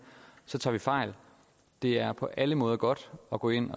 tager vi fejl det er på alle måder godt at gå ind